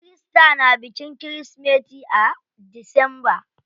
Kirista na bikin kirismeti a disamba.